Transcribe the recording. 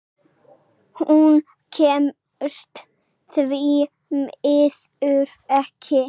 Hún kemst því miður ekki.